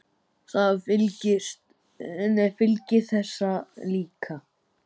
Það fylgir þessu líka.